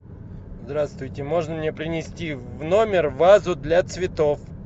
здравствуйте можно мне принести в номер вазу для цветов